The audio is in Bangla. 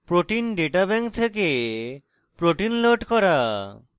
protein data bank pdb থেকে proteins load করা